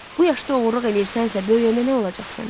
Bu yaşda oğurluq eləyirsənsə, böyüyəndə nə olacaq səndən?